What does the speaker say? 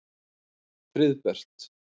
Friðbert